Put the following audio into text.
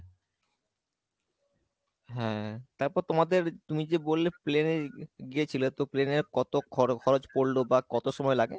হ্যাঁ তারপর তোমাদের তুমি যে বলে plain এ গিয়েছিলে তো plain এ কত খরো খরচ পড়লো বা কত সময় লাগে